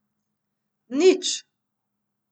Nič!